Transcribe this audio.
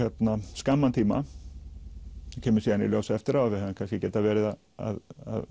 skamman tíma það kemur síðan í ljós eftirá að við hefðum kannski getað verið að